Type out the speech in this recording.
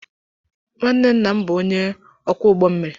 nwanne nna m bụ onye ọkwọ ụgbọ mmiri.